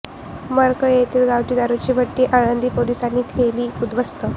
मरकळ येथील गावठी दारुची भट्टी आळंदी पोलिसांनी केली उध्दवस्त